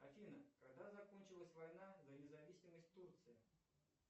афина когда закончилась война за независимость турции